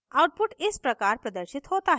output इस प्रकार प्रदर्शित होता है: